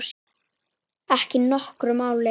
Ekki nokkru máli.